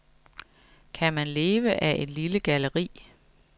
Kan man leve af et lille galleri?